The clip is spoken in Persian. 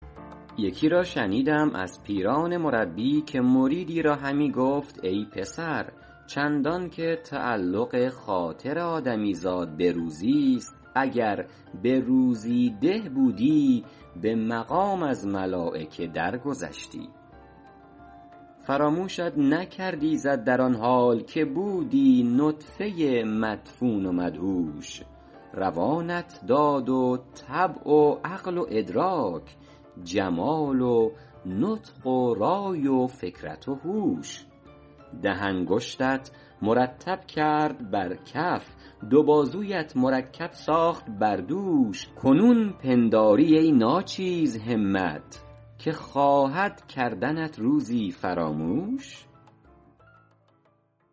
یکی را شنیدم از پیران مربی که مریدی را همی گفت ای پسر چندان که تعلق خاطر آدمی زاد به روزی ست اگر به روزی ده بودی به مقام از ملایکه در گذشتی فراموشت نکرد ایزد در آن حال که بودی نطفه مدفون و مدهوش روانت داد و طبع و عقل و ادراک جمال و نطق و رای و فکرت و هوش ده انگشتت مرتب کرد بر کف دو بازویت مرکب ساخت بر دوش کنون پنداری ای ناچیز همت که خواهد کردنت روزی فراموش